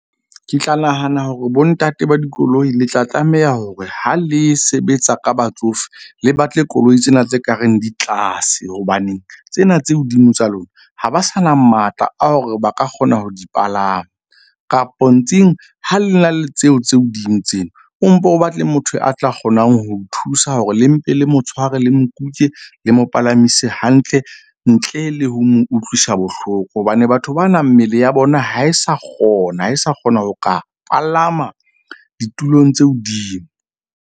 Ke tla nahana hore bontate ba dikoloi le tla tlameha hore ha le sebetsa ka batsofe, le batle koloi tsena tse ka reng di tlase. Hobaneng tsena tse hodimo tsa lona, ha ba sa na matla a hore ba ka kgona ho di palama kapo ha le na le tseo tse hodimo tsena, o mpo o batle motho a tla kgonang ho thusa hore le mpe le mo tshware le mo kuke le mo palamise hantle. Ntle le ho mo utlwisa bohloko hobane batho ba na mmele ya bona ha e sa kgona ho e sa kgona ho ka palama ditulong tse hodimo.